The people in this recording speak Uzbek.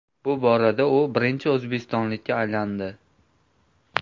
Bu borada u birinchi o‘zbekistonlikka aylandi.